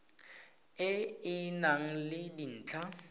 e e nang le dintlha